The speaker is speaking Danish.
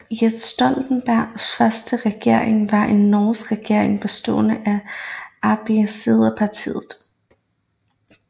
Jens Stoltenbergs første regering var en norsk regering bestående af Arbeiderpartiet